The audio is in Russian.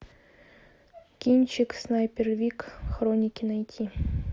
кинчик снайпер вик хроники найти